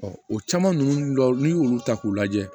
o caman ninnu dɔw n'i y'olu ta k'u lajɛ